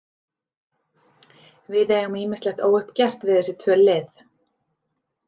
Við eigum ýmislegt óuppgert við þessi tvö lið.